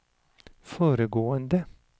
föregående